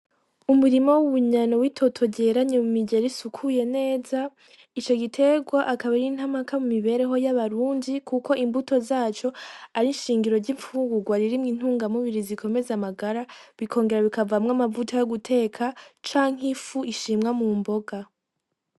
Umurimo w'ubunyana w'itoto jeranye mu mijero isukuye neza ico giterwa akaba ra intamaka mu mibereho y'abarunji, kuko imbuto zaco ari inshingiro ry'impfungurwa ririmwa intungamubiri zikomeze amagara bikongera bikavamwo amavuta yo guteka canke ifu ishimwa mu mboga.